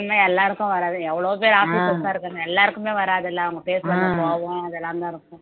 தன்மை எல்லாருக்கும் வராது எவ்ளோ பேர் இருக்காங்க எல்லாருக்குமே வராது இல்லை அவங்க பேசுறது கோவம் இதெல்லாம்தான் இருக்கும்